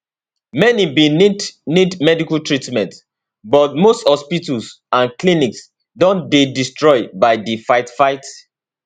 many bin need need medical treatment but most hospitals and clinics don dey destroyed by di fightfight